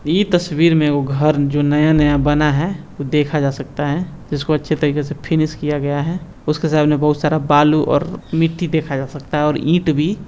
इ तस्वीर मे वो घर जो नया-नया बना है उ देखा जा सकता है जिसको अच्छे तरीके से फिनिश किया गया है उसके सामने बहुत सारा बालू और मिट्टी देखा जा सकता है और ईंट भी।